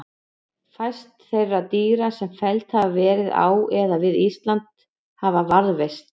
Fæst þeirra dýra sem felld hafa verið á eða við Ísland hafa varðveist.